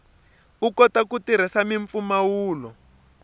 u kota ku tirhisa mimpfumawulo